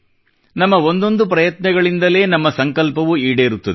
ನಮ್ಮ ಒಂದೊಂದು ಪ್ರಯತ್ನಗಳಿಂದಲೇ ನಮ್ಮ ಸಂಕಲ್ಪವು ಈಡೇರುತ್ತದೆ